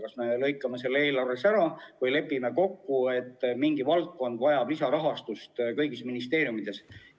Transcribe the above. Kas me lõikame selle eelarvest välja või lepime kokku, et mingi valdkond vajab kõigis ministeeriumides lisarahastust?